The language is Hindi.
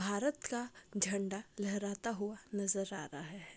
भारत का झंडा लहराता हुआ नजर आ रहा है।